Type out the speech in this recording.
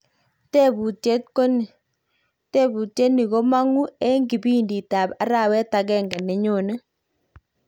Tebutyet koni, tebutyo ni komogu eng kipidit ab arawet agenge nenyone.